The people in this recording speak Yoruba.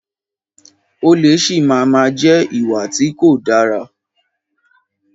Olè si máa má jẹ́ ìwà tí kò dára.